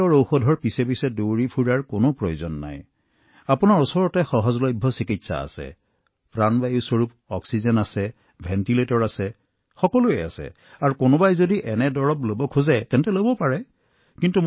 আৰু এই ব্যয়বহুল ঔষধৰ পিছত দৌৰাৰ কোনো প্ৰয়োজন নাই মহোদয় আমাৰ ওচৰত ভাল চিকিৎসা আছে প্ৰাণবায়ু অক্সিজেন আছে ভেণ্টিলেটৰৰ সুবিধাও আছে সকলো আছে মহোদয় আৰু কেতিয়াবা যদি এই ঔষধ উপলব্ধ হয় তেন্তে ইয়াক উপযুক্ত লোকসকলক দিব লাগে